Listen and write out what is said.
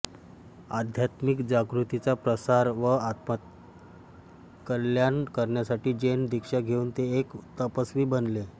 आध्यात्मिक जागृतीचा प्रसार व आत्मकल्याण करण्यासाठी जैन दिक्षा घेऊन ते एक तपस्वी बनले